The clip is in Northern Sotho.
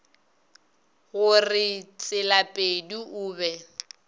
go re tselapedi o be